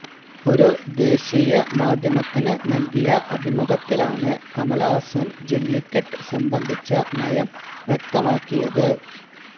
ഒരു ദേശിയമാധ്യമത്തിന് നല്കിയ അഭിമുഖത്തിലാണ് കമല്ഹാസന് ജെല്ലിക്കെട്ട് സംബന്ധിച്ച നയം വ്യക്തമാക്കിയത്